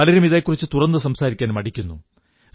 പലരും ഇതെക്കുറിച്ചു തുറന്നു സംസാരിക്കാൻ മടിക്കുന്നു